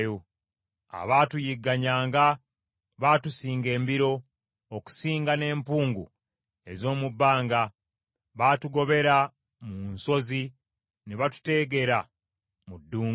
Abaatuyiganyanga baatusinga embiro okusinga n’empungu ez’omu bbanga. Baatugobera mu nsozi ne batuteegera mu ddungu.